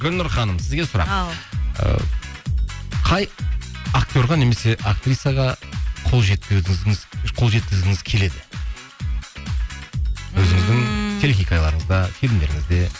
гүлнұр ханым сізге сұрақ ау ыыы қай актерға немесе актрисаға қол жеткізігіңіз қол жеткізгіңіз келеді ммм өзіңіздің телехикаяларыңызда фильмдеріңізде